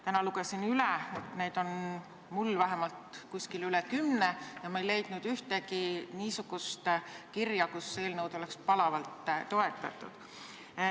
Täna lugesin üle, neid on mul vähemalt üle kümne ja ma ei leidnud ühtegi niisugust kirja, milles seda eelnõu oleks palavalt toetatud.